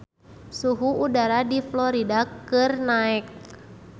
Suhu udara di Florida keur naek